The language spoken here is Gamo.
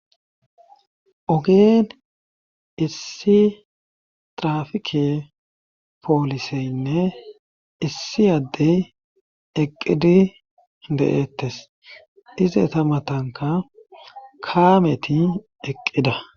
Ogeen issi trafike pooliseynne issi addey eqqidi de'eettes ize ta matanka kaameti eqqida.